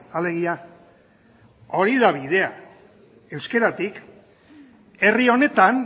alegia hori da bidea euskeratik herri honetan